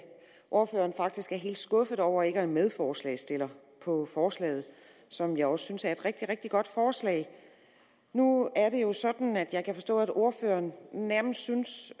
at ordføreren faktisk er helt skuffet over ikke at være medforslagsstiller på forslaget som jeg også synes er et rigtig rigtig godt forslag nu er det jo sådan at jeg kan forstå at ordføreren nærmest synes